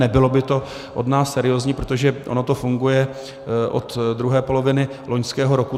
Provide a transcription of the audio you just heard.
Nebylo by to od nás seriózní, protože ono to funguje od druhé poloviny loňského roku.